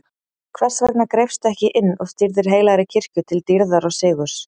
Hvers vegna greipstu ekki inn og stýrðir heilagri kirkju til dýrðar og sigurs?